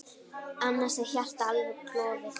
Annars er hjartað alveg klofið.